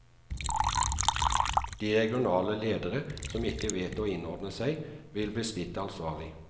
De regionale ledere som ikke vet å innordne seg, vil bli stilt ansvarlig.